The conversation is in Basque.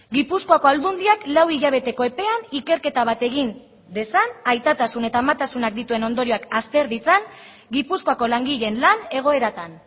gipuzkoako aldundiak lau hilabeteko epean ikerketa bat egin dezan aitatasun eta amatasunak dituen ondorioak azter ditzan gipuzkoako langileen lan egoeratan